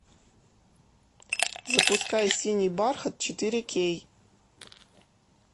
запускай синий бархат четыре кей